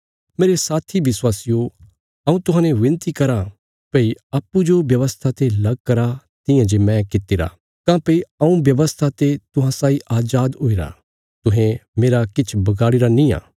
मेरे साथी विश्वासियो हऊँ तुहांजो विनती कराँ भई अप्पूँजो व्यवस्था ते लग करा तियां जे मैं कित्ती रा काँह्भई हऊँ व्यवस्था ते तुहां साई अजाद हुईरा तुहें मेरा किछ बगाड़ीरा नींआ